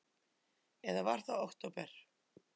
Eða var það október?